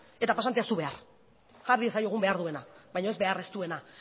eta pasantea ez du behar jar diezaiegun behar duena baino ez behar ez duena